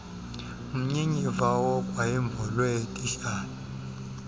mnyinyiva wogwayimbo lweetitshala